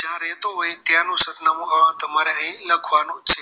જયાં રહેતું હોય ત્યાંનું સરનામું અ તમારે અહીં લખવાનું છે